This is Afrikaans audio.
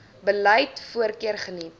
beleid voorkeur geniet